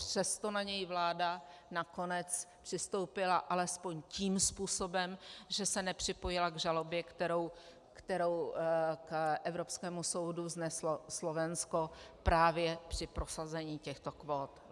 Přesto na něj vláda nakonec přistoupila alespoň tím způsobem, že se nepřipojila k žalobě, kterou k evropskému soudu vzneslo Slovensko právě při prosazení těchto kvót.